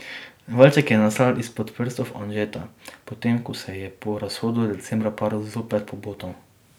Valček je nastal izpod prstov Anžeta, potem ko se je po razhodu decembra par zopet pobotal.